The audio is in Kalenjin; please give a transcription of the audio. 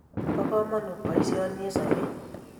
Po kamanut poisyoni eng' sobet